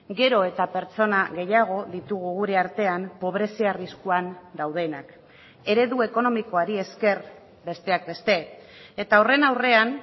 gero eta pertsona gehiago ditugu gure artean pobrezia arriskuan daudenak eredu ekonomikoari esker besteak beste eta horren aurrean